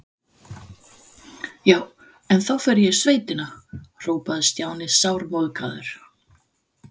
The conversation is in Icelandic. Já, en þá fer ég í sveitina hrópaði Stjáni sármóðgaður.